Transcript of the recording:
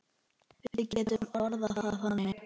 Við getum orðað það þannig.